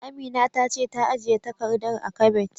Amina ta ce ta ajiye takardar a kabet.